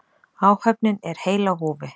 Áhöfnin er heil á húfi